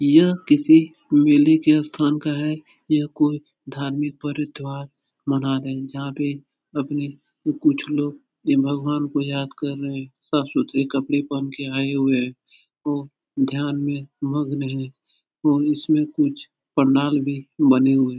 यह किसी मेले के स्थान का है। यह कोई धार्मिक परिद्वार मना रहे हैं। जहाँ पे अपनी कुछ लोग भगवान को याद कर रहे हैं। साफ़ सुथरे कपड़े पहन के आये हुए हैं। वो ध्यान में मग्न हैं और इसमें कुछ पंडाल भी बने हुए हैं।